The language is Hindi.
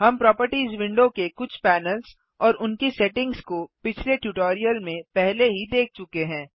हम प्रोपर्टिज विंडो के कुछ पैनल्स और उनकी सेटिंग्स को पिछले ट्यूटोरियल में पहले ही देख चुके हैं